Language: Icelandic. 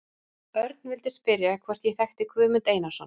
Örn vildi spyrja hvort ég þekkti Guðmund Einarsson.